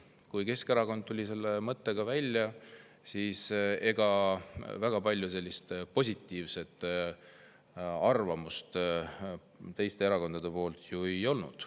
Kui Keskerakond tuli selle mõttega välja, ega siis väga palju positiivseid arvamusi teistel erakondadel ju ei olnud.